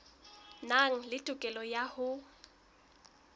nang le tokelo ya ho